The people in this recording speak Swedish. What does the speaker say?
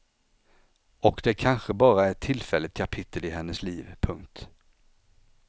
Och det kanske bara är ett tillfälligt kapitel i hennes liv. punkt